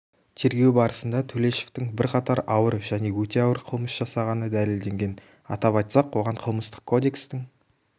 тергеу барысында төлешовтың бірқатар ауыр және өте ауыр қылмыс жасағаны дәлелденген атап айтсақ оған қылмыстық кодекстің